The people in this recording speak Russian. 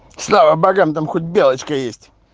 слава богам там хоть белочка есть